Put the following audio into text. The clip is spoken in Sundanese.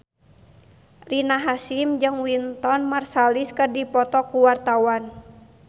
Rina Hasyim jeung Wynton Marsalis keur dipoto ku wartawan